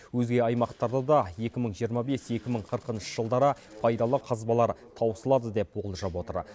өзге аймақтарда да екі мың жиырма бес екі мың қырқыншы жылдары пайдалы қазбалар таусылады деп болжап отыр